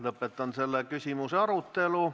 Lõpetan selle küsimuse arutelu.